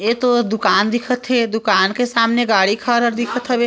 ये तो दुकान दिखत हे दुकान के सामने गाडी खड़ा दिखत हवे।